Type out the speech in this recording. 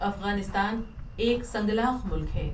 افغانستان ایک سنگلاخ ملک ہے۔